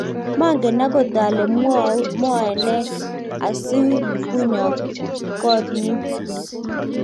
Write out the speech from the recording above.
manget akot ale mwoe ne asikunyo koot nyu